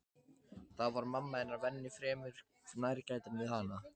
Þá var mamma hennar venju fremur nærgætin við hana.